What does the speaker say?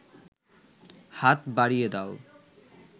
হাত বাড়িয়ে দাও